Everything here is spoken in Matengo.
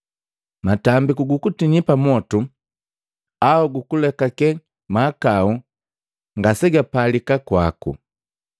Matambiku gukutinyia pamotu, au gukulekake mahakau ngaseipalika kwaku.